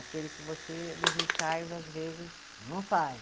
Aquele que você, nos ensaios, às vezes, não sai.